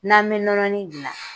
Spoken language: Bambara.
N'an bɛ nɔnɔnin gilan.